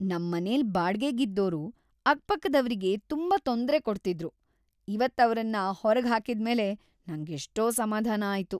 ನಮ್ಮನೆಲ್ ಬಾಡ್ಗೆಗಿದ್ದೋರು ಅಕ್ಪಕ್ಕದವ್ರಿಗೆ ತುಂಬಾ ತೊಂದ್ರೆ ಕೊಡ್ತಿದ್ರು, ಇವತ್ತ್ ಅವ್ರನ್ನ ಹೊರ್ಗ್ ಹಾಕಿದ್ಮೇಲೆ ನಂಗೆಷ್ಟೋ ಸಮಾಧಾನ ಆಯ್ತು.